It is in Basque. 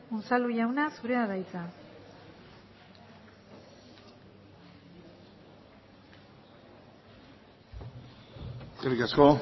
unzalu jauna zurea da hitza eskerrik asko